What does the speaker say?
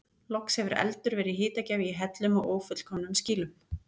Loks hefur eldur verið hitagjafi í hellum og ófullkomnum skýlum.